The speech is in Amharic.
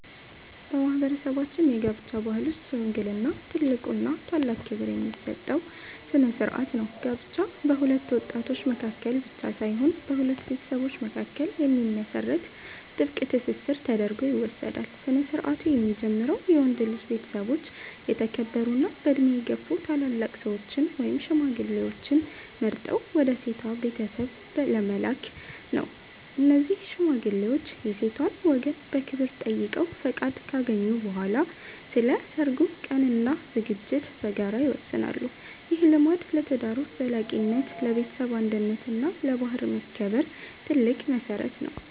በማህበረሰባችን የጋብቻ ባህል ውስጥ "ሽምግልና" ትልቁና ታላቅ ክብር የሚሰጠው ስነ-ስርዓት ነው። ጋብቻ በሁለት ወጣቶች መካከል ብቻ ሳይሆን በሁለት ቤተሰቦች መካከል የሚመሰረት ጥብቅ ትስስር ተደርጎ ይወሰዳል። ስነ-ስርዓቱ የሚጀምረው የወንድ ልጅ ቤተሰቦች የተከበሩና በዕድሜ የገፉ ታላላቅ ሰዎችን (ሽማግሌዎችን) መርጠው ወደ ሴቷ ቤተሰብ በመላክ ነው። እነዚህ ሽማግሌዎች የሴቷን ወገን በክብር ጠይቀው ፈቃድ ካገኙ በኋላ፣ ስለ ሰርጉ ቀንና ዝግጅት በጋራ ይወስናሉ። ይህ ልማድ ለትዳሩ ዘላቂነት፣ ለቤተሰብ አንድነት እና ለባህል መከበር ትልቅ መሰረት ነው።